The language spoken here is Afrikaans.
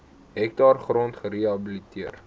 hektaar grond gerehabiliteer